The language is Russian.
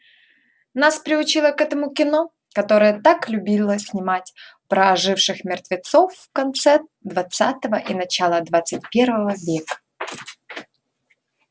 нас приучило к этому кино которое так любила снимать про оживших мертвецов в конце двадцатого и начале двадцать первого века